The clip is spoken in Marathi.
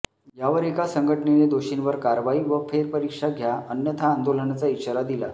यावर एका संघटनेने दोषींवर कारवाई व फेरपरीक्षा घ्या अन्यथा आंदोलनाचा इशारा दिला